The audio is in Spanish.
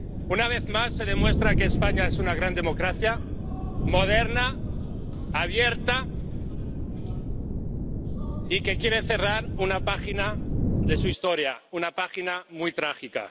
Una vez más se demuestra que España es una gran democracia, moderna, abierta y que quiere cerrar una página de su historia, una página muy trágica.